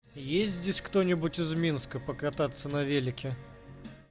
есть здесь кто-нибудь из минска покататься на велике